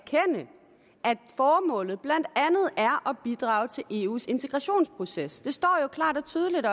formålet blandt andet er at bidrage til eus integrationsproces det står jo klart og tydeligt